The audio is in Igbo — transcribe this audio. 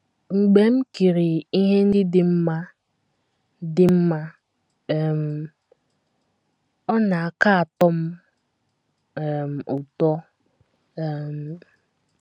Mgbe m kiriri ihe ndị dị mma dị mma, um ọ na - aka atọ m um ụtọ. um ”